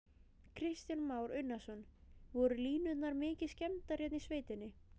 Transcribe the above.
Kristján Már Unnarsson: Voru línurnar mikið skemmdar hérna í sveitinni?